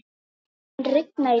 Burkni, mun rigna í dag?